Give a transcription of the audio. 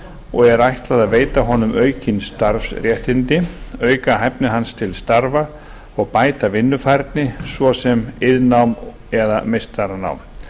og er ætlað að veita honum aukin starfsréttindi auka hæfni hans til starfa og bæta vinnufærni svo sem iðnnám eða meistaranám